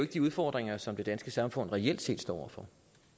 de udfordringer som det danske samfund reelt set står over for